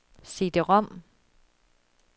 CD-rom